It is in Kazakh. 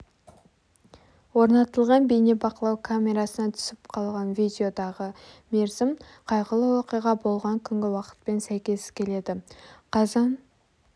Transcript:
орнатылған бейнебақылау камерасына түсіп қалған видеодағы мерзім қайғылы оқиға болған күнгі уақытпен сәйкес келеді қазан